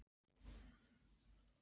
Ásvarður, hvað er í matinn?